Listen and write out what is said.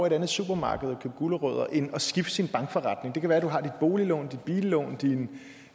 et andet supermarked og købe gulerødder end at skifte sin bankforretning det kan være at du har dit boliglån dit billån din